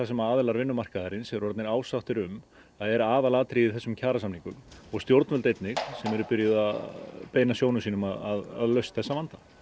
sem aðilar vinnumarkaðarins eru orðnir ásáttir um að er aðalatriðið í þessum kjarasamningum og stjórnvöld einnig sem eru byrjuð að beina sjónum sínum að lausn þessa vanda